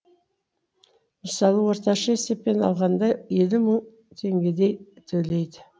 мысалы орташа есеппен алғанда елу мың теңгедей төлейді